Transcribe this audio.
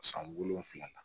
San wolonwula na